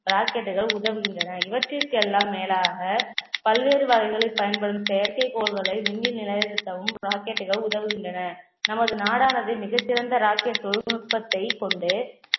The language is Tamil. rocket கள் உதவுகின்றன. இவற்றிற்கு எல்லாம் மேலாக பல்வேறு வகைகளில் பயன்படும் செயற்கைக் கோள்களை விண்ணில் நிலைநிறுத்தவும் rocket கள் உதவுகின்றன நமது நாடானது மிகச்சிறந்த rocket தொழில்நுட்பத்தை கொண்டு